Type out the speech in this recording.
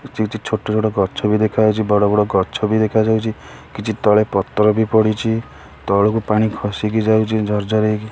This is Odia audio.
କିଛି କିଛି ଛୋଟ ଛୋଟ ଗଛ ବି ଦେଖାଯାଉଚି ବଡ଼ ବଡ଼ ଗଛ ବି ଦେଖାଯାଉଚି କିଛି ତଳେ ପତର ବି ପଡ଼ିଚି ତଳୁକୁ ପାଣି ଖସିକି ଯାଉଚି ଝର ଝର ହେଇକି।